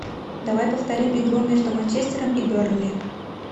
давай повторим игру между манчестером и бернли